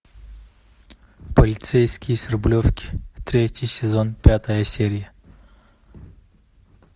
полицейский с рублевки третий сезон пятая серия